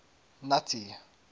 nuttie